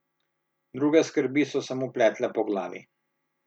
Druge skrbi so se mu pletle po glavi.